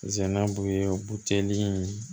Sɛnɛn b'u ye buteli in